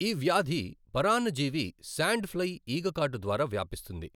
ఈ వ్యాధి పరాన్నజీవి శాండ్ ఫ్లై ఈగ కాటు ద్వారా వ్యాపిస్తుంది.